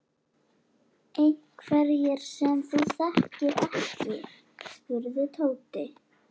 Einhverjir sem þú þekkir ekki? spurði Tóti.